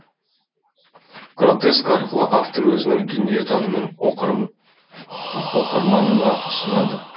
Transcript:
гротеск арқылы автор өзінің дүниетанымын оқырманына ұсынады